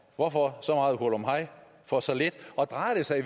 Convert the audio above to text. hvorfor så meget hurlumhej for så lidt drejer det sig